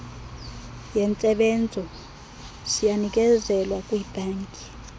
yentsebenzo siyanikezelwa kwiibhanki